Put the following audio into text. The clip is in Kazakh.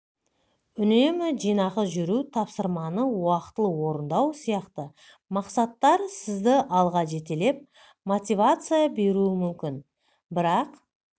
үнемі жинақы жүру тапсырманы уақытылы орындау сияқты мақсаттар сізді алға жетелеп мотивация беруі мүмкін бірақ